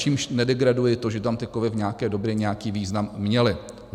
Čímž nedegraduji to, že tam ty kovy v nějaké době nějaký význam měly.